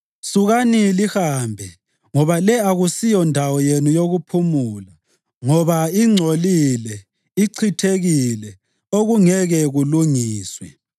Sukani lihambe! Ngoba le akusindawo yenu yokuphumula, ngoba ingcolile, ichithekile, okungeke kulungiswe.